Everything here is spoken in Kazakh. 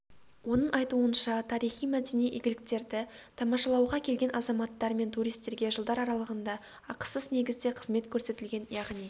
оның айтуынша тарихи-мәдени игіліктерді тамашалауға келген азаматтар мен туристерге жылдар аралығында ақысыз негізде қызмет көрсетілген яғни